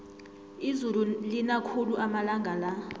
izulu lina khulu amalanga la